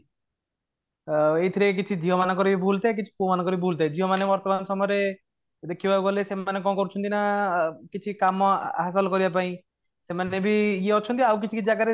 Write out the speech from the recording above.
ଅଂ ଏଇଥିରେ କିଛି ଝିଅ ମାନଙ୍କର ବି ଭୁଲ ଥାଏ କିଛି ପୁଅ ମାନଙ୍କର ବି ଭୁଲ ଥାଏ ଝିଅ ମାନେ ବର୍ତ୍ତମାନ ସମୟରେ ଦେଖିବାକୁ ଗଲେ ସେମାନେ କ'ଣ କରୁଛନ୍ତି ନା କିଛି କାମ ହାସଲ କରିବା ପାଇଁ ସେମାନେ ବି ଇୟେ ଅଛନ୍ତି ଆଉ କିଛି କିଛି ଜାଗା ରେ